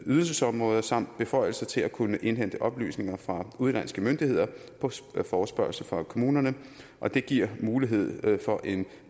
ydelsesområder samt beføjelser til at kunne indhente oplysninger fra udenlandske myndigheder på forespørgsel fra kommunerne og det giver mulighed for en